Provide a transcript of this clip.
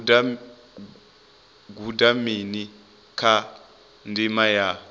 guda mini kha ndima ya